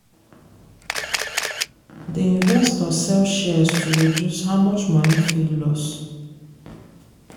the investor sell shares to reduce how much money fit loss.